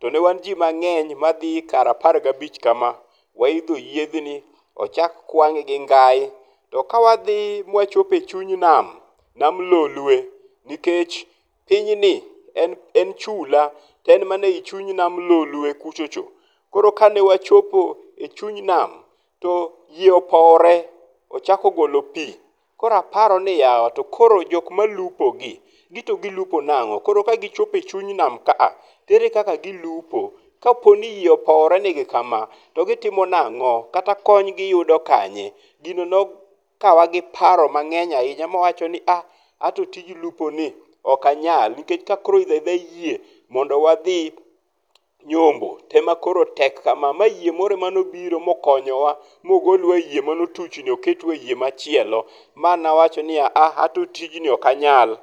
to ne wan ji mang'eny madhi kar apar gi abich kama. Waidho yiedhni, ochak kwang'e gi ngai. To ka wadhi ma wachopo e chuny nam, nam Lolwe, nikech pinyni, en en chula, to en mana e chuny nam Lolwe kuchocho. Koro kane wachopo e chuny nam, to yie opowore. Ochako golo pi. Koro aparo ni yawa, to koro jok malupo gi, gito gilup nang'o. Koro ka gichopo e chuny nam ka, to ere kaka gilupo. Kopo ni yie opowore ne gi kama to gitimo nang'o? Kata kony giyudo kanye? Gino ne okawa gi paro mang'eny ahinya ma awacho ni ah ato tij lup ni ok anyal nikech ka koro idho a idha yie mondo wadhi nyombo te ema koro tek kama mayie moro emane obiro ma okonyowa ma ogolwa e yie motuch ni ma oketwa e yie machielo mane awacho niya aa anto tijni ok anyal.